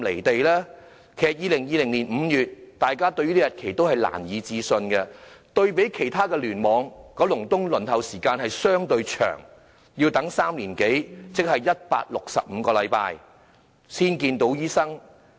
對於2020年5月這個日期，大家也感到難以置信，對比其他聯網，九龍東的輪候時間相對長，要等3年多，即是165個星期才能見醫生。